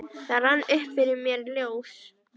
Það rann upp fyrir mér ljós